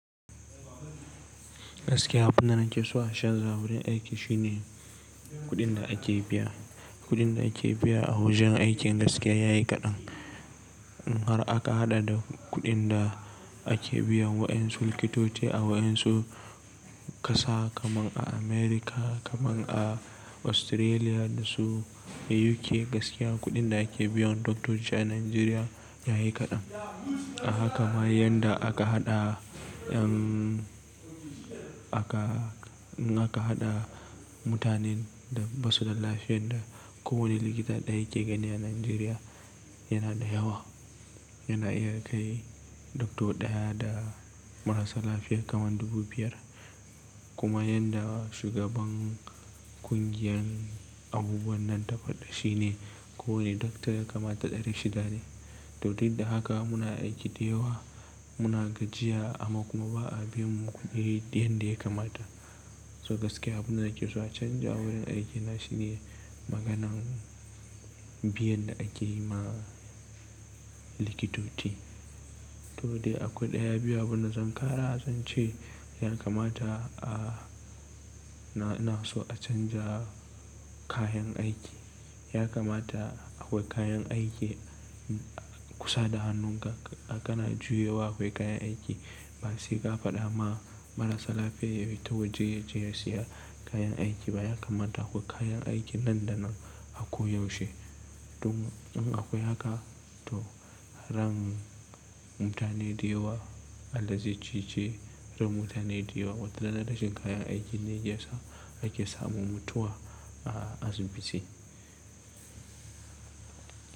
Gaskiya abunda na keso a canja wurin aiki shine kuɗinda ake biya. Kuɗin da ake biya a wajen aikin gaskiya yayi kaɗan. Har aka haɗa da kuɗinda ake biya wayansu likitoci a wayansu ƙasa kaman a America, kaman a Australia da su UK. Gaskiya kuɗin da ake biyan doctoci a Nigeria yayi kaɗan. A haka ma yanda aka haɗa, aka, aka haɗa mutanen da basuda lafiya da ko wane likita daya yake gani a Nigeria yanada yawa. Yana iya kai doctor ɗaya da marasa lafiya kaman dubu biyar. Kuma yanda shugaban ƙungiyar abubuwannan ta faɗa shine, ko wane doctor ya kamata ɗari shida ne. To duk da haka muna aiki da yawa, muna gajiya amma kuma ba'a biyammu kuɗi yanda ya kamata. So gaskiya abunda nakeso a canja wurin aiki na shine maganan biyan da akeyima likitoci. Todai a kwau ɗaya biyu abunda zan ƙara, zance ya kamata a, na so a canja kayan aiki. Ya kamata akwai kayan aiki kusa da hannunka. Kana juyowa akwai kayan aiki. Basai ka faɗama marasa lafiya yabita waje yaje ya siya kayan aiki. Ba ya kamata akwai kayan aiki nan da nan a koyaushe. Tun in akwai haka to ran mutane da yawa, Allah ze cece, ran mutane da yawa watarana rashin kayan aikinne yakesa ake samun mutuwa a asibiti.